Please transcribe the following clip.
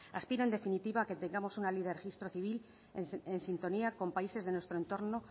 aspiro en definitiva que tengamos una ley del registro civil en sintonía con países de nuestro entorno